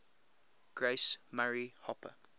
grace murray hopper